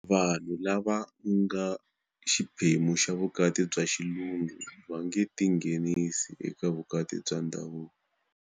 Vanhu lava nga xiphemu xa vukati bya xilungu va nge tinghenisi eka vukati bya ndhavuko.